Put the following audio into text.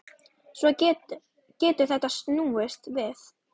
Svo getur þetta snúist við.